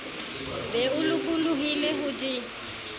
be o lokollohile ho di